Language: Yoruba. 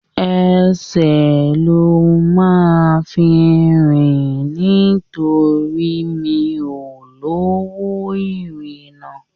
Ẹsẹ̀ lo máa fi rìn nítorí mi ò lọ́wó ìrìnà